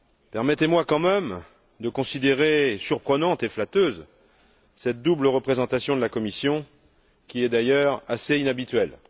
Permettez moi quand même de considérer comme surprenante et flatteuse cette double représentation de la Commission, qui est d'ailleurs assez inhabituelle.